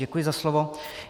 Děkuji za slovo.